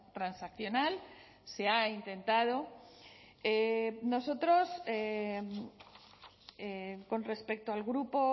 transaccional se ha intentado nosotros con respecto al grupo